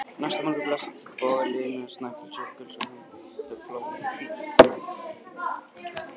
Næsta morgun blasti bogalína Snæfellsjökuls við handan við flóann, hvít og mjúk.